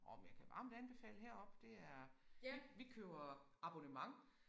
Orh men jeg kan varmt anbefale heroppe det er vi vi køber abonnement